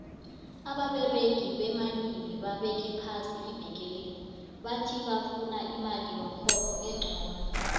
ababeregi beminini babeke phasi iveke le bati bavuna imali yomrholo enqono